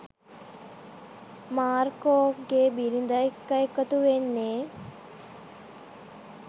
මාර්කෝගේ බිරිද එක්ක එකතු වෙන්නේ?